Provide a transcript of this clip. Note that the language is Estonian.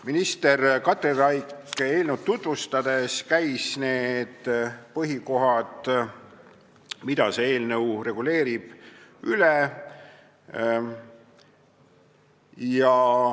Minister Katri Raik käis eelnõu tutvustades üle need põhikohad, mida see eelnõu reguleerib.